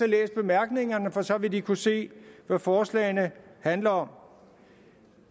læst bemærkningerne for så vil de kunne se hvad forslagene handler om